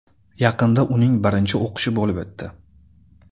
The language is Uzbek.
Yaqinda uning birinchi o‘qishi bo‘lib o‘tdi.